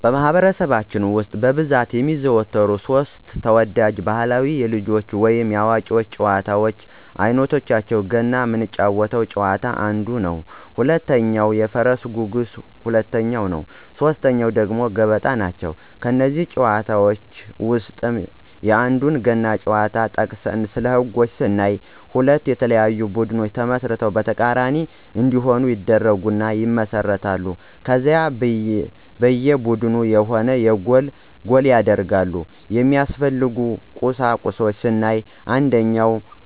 በማኅበረሰባችን ውስጥ በብዛት የሚዘወተሩ ሦስት (3) ተወዳጅ ባሕላዊ የልጆች ወይንም የአዋቂዎች ጨዋታዎች አይነቶቻቸው ገና ምንጫወተው ጨዋታ አንዱ ነው፣ ሁለተኛው የፈረስ ጉግስ ሁለተኛው ነው ሶስተኛው ደግሞ ገበጣ ናቸው። ከእነዚህ ጨዋታዎች ውስጥ የአንዱን ገና ጨዋታ ጠቅሰን ስለህጎች ስናይ ሁለት የተለያዩ ቡድኖች ተመስርተው በተቃራኒ እንዲሆኑ ይደረግና ይመሰረታሉ ከዛ በየ ቡድኑ የሆነ ጎል ይደረጋል፣ የሚያስፈልጉ ቁሳቁሶች ስናይ አንደኛ